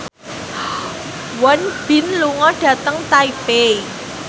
Won Bin lunga dhateng Taipei